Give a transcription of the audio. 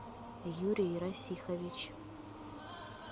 юрий расихович